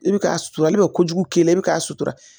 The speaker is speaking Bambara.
I bɛ k'a suturali kojugu k'i la i bɛ k'a sutura